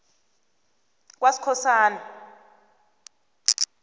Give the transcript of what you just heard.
kaskhosana